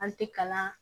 An tɛ kalan